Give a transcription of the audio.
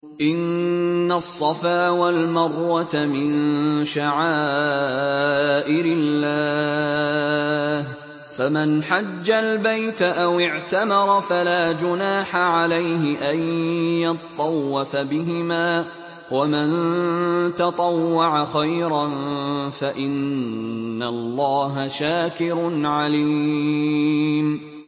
۞ إِنَّ الصَّفَا وَالْمَرْوَةَ مِن شَعَائِرِ اللَّهِ ۖ فَمَنْ حَجَّ الْبَيْتَ أَوِ اعْتَمَرَ فَلَا جُنَاحَ عَلَيْهِ أَن يَطَّوَّفَ بِهِمَا ۚ وَمَن تَطَوَّعَ خَيْرًا فَإِنَّ اللَّهَ شَاكِرٌ عَلِيمٌ